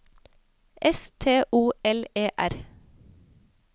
S T O L E R